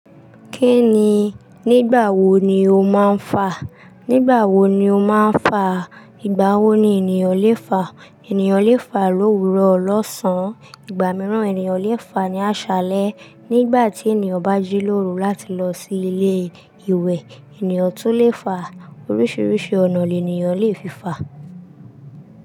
Kí ni? Nígbà wo ni o máa ń fà? Nígbà wo ni o máa ń fà? Ìgbà wo ni ènìyàn lè fà? Ènìyàn lè fà lóru lọ́sàn-án. Ìgbà mìíràn, ènìyàn lè fà ní aṣálẹ́. Nígbà tí ènìyàn bá jí lóru láti lọ sí ilé ìwẹ̀, ènìyàn tún lè fà. Oríṣiríṣi ọ̀nà lènìyàn lè fi fà.